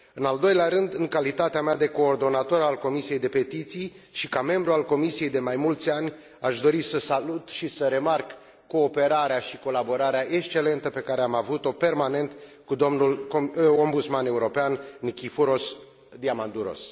În al doilea rând, în calitatea mea de coordonator al Comisiei pentru petiții și ca membru al Comisiei de mai mulți ani, aș dori să salut și să remarc cooperarea și colaborarea excelentă pe care am avut o permanent cu domnul Ombudsman European, Nikiforos Diamandouros.